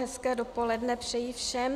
Hezké dopoledne přeji všem.